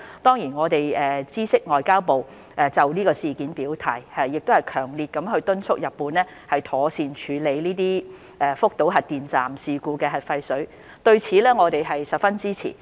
當然，我們知悉外交部已就事件表態，亦強烈敦促日方妥善處理福島核電站事故的核廢水，對此我們十分支持。